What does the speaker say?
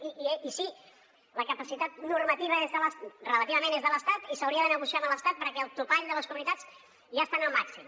i sí la capacitat normativa relativament és de l’estat i s’hauria de negociar amb l’estat perquè el topall de les comunitats ja està en el màxim